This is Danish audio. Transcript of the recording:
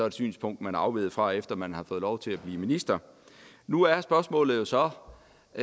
et synspunkt man er afveget fra efter at man har fået lov til at blive minister nu er spørgsmålet jo så